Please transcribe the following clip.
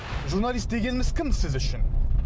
журналист дегеніміз кім сіз үшін